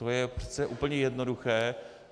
To je přece úplně jednoduché.